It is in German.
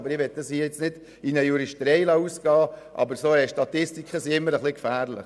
Ich möchte das hier nicht in eine Juristerei ausarten lassen, aber solche Statistiken sind immer ein wenig gefährlich.